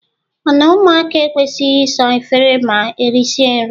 O na - ụmụaka ekwesịghị ịsa efere ma erịsịa nrị?